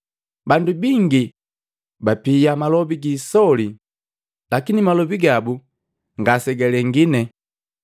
Bandu bingi bapia malobi giisoli, lakini malobi gabu ngasegalengine.